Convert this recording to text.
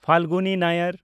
Falguni Nayar